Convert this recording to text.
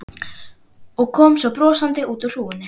Og kom svo brosandi út úr hrúgunni.